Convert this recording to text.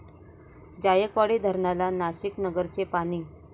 जायकवाडी धरणाला नाशिक, नगरचे पाणी